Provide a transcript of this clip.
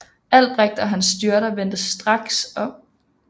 Albrecht og hans styrker vendte straks om